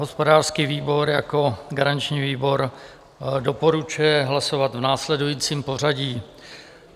Hospodářský výbor jako garanční výbor doporučuje hlasovat v následujícím pořadí.